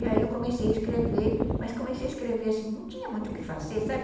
E aí eu comecei a escrever, mas comecei a escrever assim, não tinha muito o que fazer, sabe?